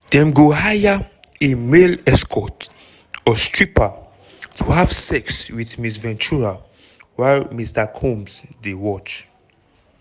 dem go hire a male escort or stripper to have sex with ms ventura while mr combs go dey watch.